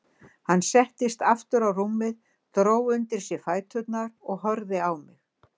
Hann settist aftur á rúmið, dró undir sig fæturna og horfði á mig.